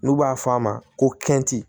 N'u b'a f'a ma ko kɛnti